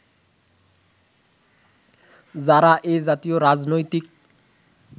যারা এ জাতীয় রাজনৈতিক